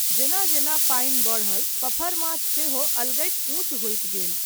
जेना जेना पानि बढ़ल, पफरमाछ सेहो अलगैत ऊँच होइत गेल।